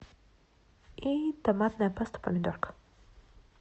и томатная паста помидорка